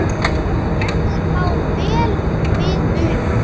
Gerður má vel við una.